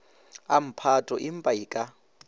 a mphato empa e ka